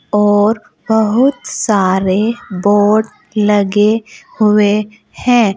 और बहुत सारे बोर्ड लगे हुए हैं।